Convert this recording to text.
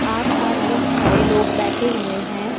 आस पास बहुत सारे लोग बैठे हुए हैं।